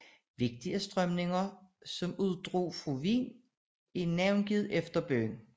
Vigtige strømninger som uddrog fra Wien er navngivet efter byen